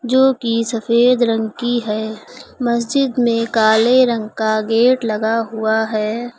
जो कि सफेद रंग की है मस्जिद में काले रंग का गेट लगा हुआ है।